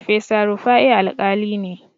Farfesa Rufa'i Alƙali ne.